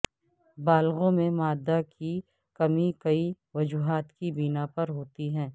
بالغوں میں مادہ کی کمی کئی وجوہات کی بنا پر ہوتی ہے